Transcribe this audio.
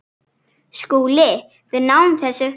SKÚLI: Við náðum þessu.